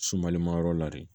Sumalimayɔrɔ la de